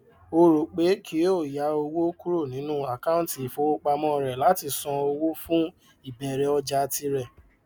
ó rò pé kí ó yá owó kúrò nínú àkáńtì ifowópamọ rẹ láti sàn owó fún ìbẹrẹ ọjà tirẹ